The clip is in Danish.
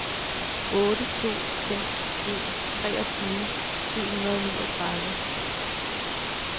otte to fem en treogtyve syv hundrede og niogtredive